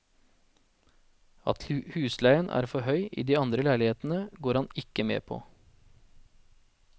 At husleien er for høy i de andre leilighetene, går han ikke med på.